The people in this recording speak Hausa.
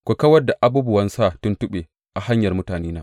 Ku kawar da abubuwan sa tuntuɓe a hanyar mutanena.